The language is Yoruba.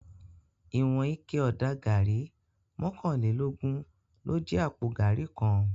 Iwòn iké òdá gàrí mòkánlélógùn ló jè àpó gàrí kán